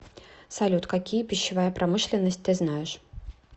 салют какие пищевая промышленность ты знаешь